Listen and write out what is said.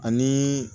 Ani